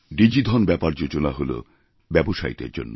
ডিজিধন ব্যাপার যোজনা হলব্যবসায়ীদের জন্য